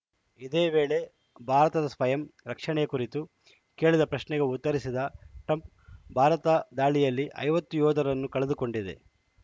ಇದೇ ವೇಳೆ ಭಾರತದ ಸ್ವಯಂ ರಕ್ಷಣೆಯ ಕುರಿತು ಕೇಳಿದ ಪ್ರಶ್ನೆಗೆ ಉತ್ತರಿಸಿದ ಟ್ರಂಪ್‌ ಭಾರತ ದಾಳಿಯಲ್ಲಿ ಐವತ್ತು ಯೋಧರನ್ನು ಕಳೆದುಕೊಂಡಿದೆ